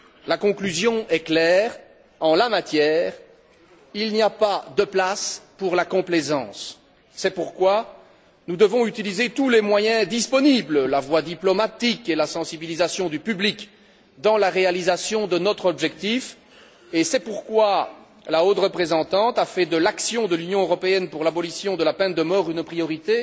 La conclusion est claire en la matière, il n'y a pas de place pour la complaisance. C'est pourquoi nous devons utiliser tous les moyens disponibles, la voie diplomatique et la sensibilisation du public, dans la réalisation de notre objectif et c'est pourquoi la haute représentante a fait de l'action de l'Union européenne pour l'abolition de la peine de mort une priorité